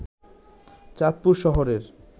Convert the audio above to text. চাঁদপুর শহরের